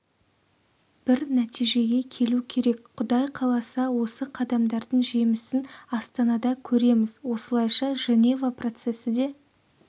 бір нәтижеге келу керек құдай қаласа осы қадамдардың жемісін астанада көреміз осылайша женева процесі де